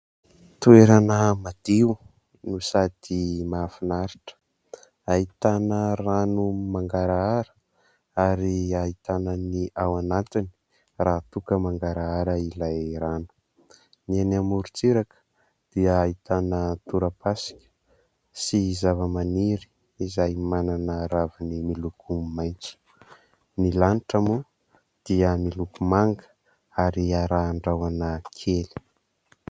Toerana madio no sady mahafinaritra, ahitana rano mangarahara ary ahitana ny ao anatiny raha toa ka mangarahara ilay rano. Ny eny amorontsiraka dia ahitana torapasika sy zava-maniry izay manana raviny miloko maitso. Ny lanitra moa dia miloko manga ary arahan'ny rahona kely.